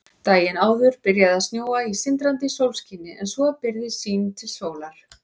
Daginn áður byrjaði að snjóa í sindrandi sólskini en svo byrgði sýn til sólar.